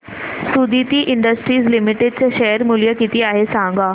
Suditi industries limited चे share मूल्य किती आहे सांगा